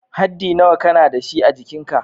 Haddi nawa ka na da shi a'jikin ka?